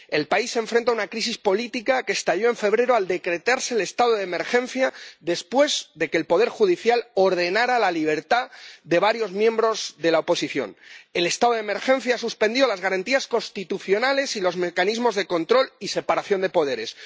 El país se enfrenta a una crisis política que estalló en febrero al decretarse el estado de emergencia después de que el poder judicial ordenara la libertad de varios miembros de la oposición. El estado de emergencia suspendió las garantías constitucionales y los mecanismos de control y separación de poderes